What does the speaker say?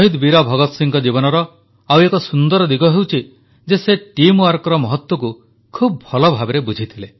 ବୀର ଭଗତ ସିଂହଙ୍କ ଜୀବନର ଆଉ ଏକ ସୁନ୍ଦର ଦିଗ ହେଉଛି ଯେ ସେ ଏକତା ଶକ୍ତିର ମହତ୍ୱକୁ ଖୁବ୍ ଭଲଭାବେ ବୁଝିଥିଲେ